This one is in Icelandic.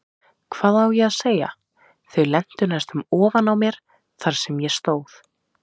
Hvað á ég að segja, þau lentu næstum ofan á mér þar sem ég stóð.